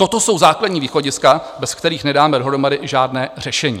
Toto jsou základní východiska, bez kterých nedáme dohromady žádné řešení.